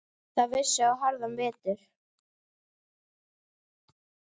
Það vissi á harðan vetur.